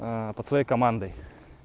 под своей команды